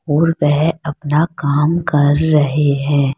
और वह अपना काम कर रहे हैं।